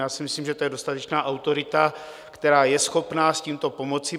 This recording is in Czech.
Já si myslím, že to je dostatečná autorita, která je schopna s tímto pomoci.